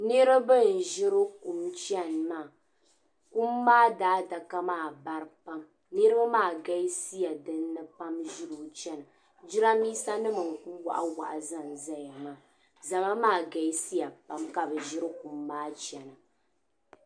Niriba n-ʒiri kum chani maa. Kum maa daadaka maa bara pam. Niriba maa galisiya dinni pam ʒiri o chana. Jidambiisanima n-ku waɣawaɣa zanzaya maa. Zama maa galisiya pam ka bɛ ʒiri kum maa chana.